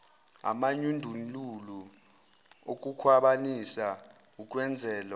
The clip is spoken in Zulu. amanyundululu okukhwabanisa ukwenzelwa